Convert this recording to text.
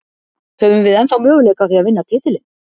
Höfum við ennþá möguleika á því að vinna titilinn?